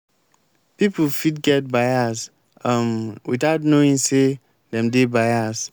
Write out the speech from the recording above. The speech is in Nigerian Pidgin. people fit get biase um without knowing sey dem dey bias